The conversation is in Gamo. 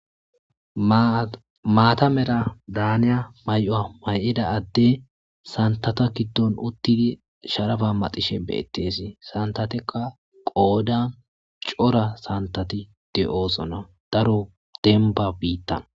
maatamera daaniya may'uwa may'ida addey santata giddon uttidi sharaba maxishe beettesi santatekka qoodan cora santati de'oosona daro denba biittan